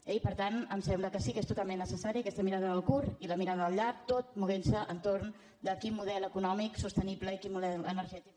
i per tant em sembla que sí que és totalment necessària aquesta mirada al curt i la mirada al llarg tot movent se entorn de quin model econòmic sostenible i quin model energètic